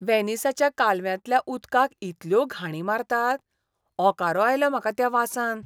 व्हेनिसाच्या कालव्यांतल्या उदकाक इतल्यो घाणी मारतात. ओंकारो आयलो म्हाका त्या वासान.